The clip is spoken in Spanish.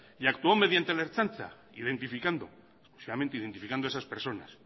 y actuó mediante la ertzaintza identificado a esas personas